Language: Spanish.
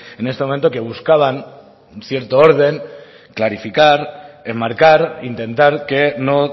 en este momento que buscaban cierto orden clarificar enmarcar intentar que no